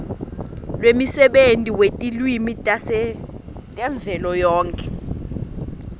lwemsebenti wetilwimi tavelonkhe